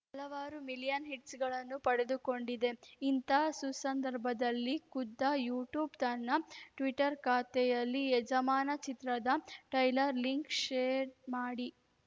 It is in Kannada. ಹಲವಾರು ಮಿಲಿಯನ್‌ ಹಿಟ್ಸ್‌ಗಳನ್ನು ಪಡೆದುಕೊಂಡಿದೆ ಇಂಥಾ ಸುಸಂದರ್ಭದಲ್ಲಿ ಖುದ್ದ ಯೂಟ್ಯೂಬ್‌ ತನ್ನ ಟ್ವೀಟರ್‌ ಖಾತೆಯಲ್ಲಿ ಯಜಮಾನ ಚಿತ್ರದ ಟೈಲರ್‌ ಲಿಂಕ್‌ ಶೇರ್‌ ಮಾಡಿ